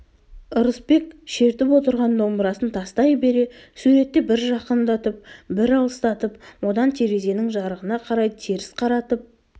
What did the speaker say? ырысбек шертіп отырған домбырасын тастай бере суретті бір жақындатып бір алыстатып одан терезенің жарығына қарай теріс қаратып